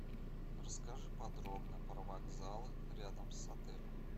расскажи подробно про вокзалы рядом с отелем